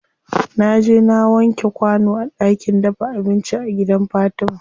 Naje na wanke kwano a ɗakin dafa abinci a gidan fatima.